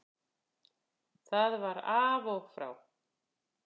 Það var af og frá.